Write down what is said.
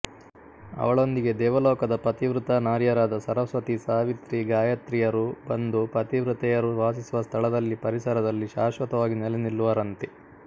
ಅವಳೊಂದಿಗೆ ದೇವಲೋಕದ ಪತಿವ್ರತಾ ನಾರಿಯರಾದ ಸರಸ್ವತಿ ಸಾವಿತ್ರಿ ಗಾಯತ್ರಿಯರು ಬಂದು ಪತಿವ್ರತೆಯರು ವಾಸಿಸುವ ಸ್ಥಳದಲ್ಲಿಪರಿಸರದಲ್ಲಿ ಶಾಶ್ವತವಾಗಿ ನೆಲೆ ನಿಲ್ಲುವರಂತೆ